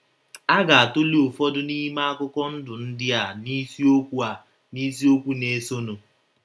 A ga - atụle ụfọdụ n’ime akụkọ ndụ ndị a n’isiokwu a n’isiokwu na - esonụ.